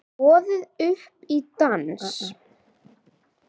Boðið upp í dans